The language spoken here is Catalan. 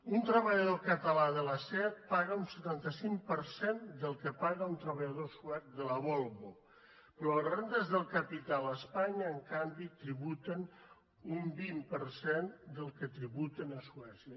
un treballador català de la seat paga un setanta cinc per cent del que paga un treballador suec de la volvo però les rendes de capital a espanya en canvi tributen un vint per cent del que tributen a suècia